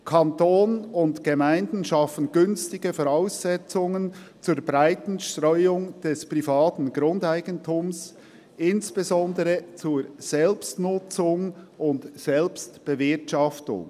«Kanton und Gemeinden schaffen günstige Voraussetzungen zur breiten Streuung des privaten Grundeigentums, insbesondere zur Selbstnutzung und Selbstbewirtschaftung.